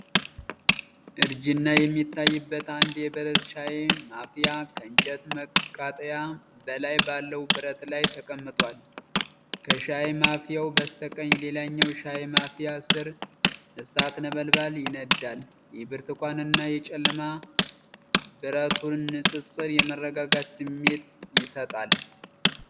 እርጅና የሚታይበት አንድ የብረት ሻይ ማፍያ ከእንጨት መቃጠያ በላይ ባለው ብረት ላይ ተቀምጧል። ከሻይ ማፍያው በስተቀኝ፣ ሌላኛው ሻይ ማፍያ ስር እሳት ነበልባል ይነዳል። የብርቱካንና የጨለማ ብረቱ ንፅፅር የመረጋጋት ስሜት ይሰጣል።